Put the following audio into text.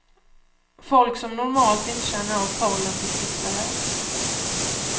Folk som normalt inte känner av pollen fick besvär.